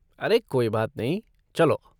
अरे कोई बात नहीं, चलो!